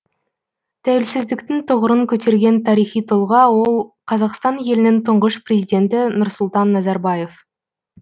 тәуелсіздіктің тұғырын көтерген тарихи тұлға ол қазақстан елінің тұңғыш президенті нұрсұлтан назарбаев